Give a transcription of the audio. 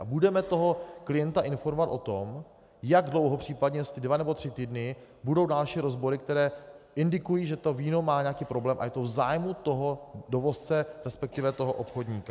A budeme toho klienta informovat o tom, jak dlouho případně, jestli dva nebo tři týdny budou další rozbory, které indikují, že to víno má nějaký problém, a je to v zájmu toho dovozce, respektive toho obchodníka.